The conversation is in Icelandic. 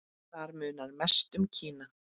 Þar munar mest um Kína.